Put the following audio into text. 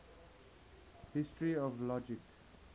history of logic